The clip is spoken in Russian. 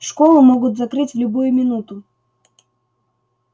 школу могут закрыть в любую минуту